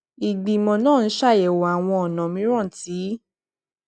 ìgbìmò náà ń ṣàyèwò àwọn ònà mìíràn tí